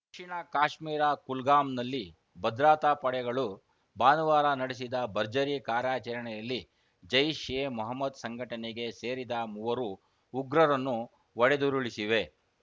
ದಕ್ಷಿಣ ಕಾಶ್ಮೀರ ಕುಲ್ಗಾಂನಲ್ಲಿ ಭದ್ರತಾ ಪಡೆಗಳು ಭಾನುವಾರ ನಡೆಸಿದ ಭರ್ಜರಿ ಕಾರ್ಯಾಚರಣೆಯಲ್ಲಿ ಜೈಷ್‌ ಎ ಮಹಮ್ಮದ್‌ ಸಂಘಟನೆಗೆ ಸೇರಿದ ಮೂವರು ಉಗ್ರರನ್ನು ಹೊಡೆದುರುಳಿಸಿವೆ